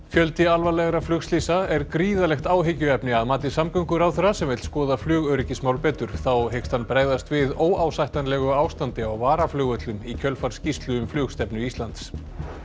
fjöldi alvarlegra flugslysa er gríðarlegt áhyggjuefni að mati samgönguráðherra sem vill skoða flugöryggismál betur þá hyggst hann bregðast við óásættanlegu ástandi á varaflugvöllum í kjölfar skýrslu um flugstefnu Íslands